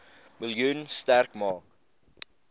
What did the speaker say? miljoen sterk maak